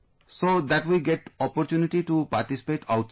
So that we get opportunity to participate outside